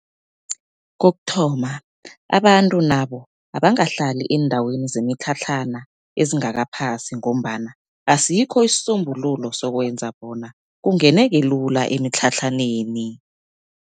Kokuthoma abantu nabo abangahlali eendaweni zemitlhatlhana ezingakaphasi, ngombana asikho isisombululo sokwenza bona kungeneke lula emitlhatlhaneni.